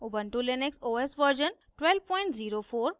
ubuntu Linux os version 1204